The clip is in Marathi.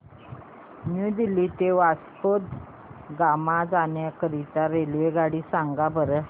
न्यू दिल्ली ते वास्को द गामा जाण्या करीता रेल्वेगाडी सांगा बरं